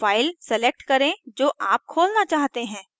file select करे जो आप खोलना चाहते हैं